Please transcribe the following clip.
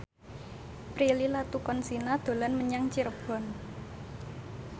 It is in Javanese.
Prilly Latuconsina dolan menyang Cirebon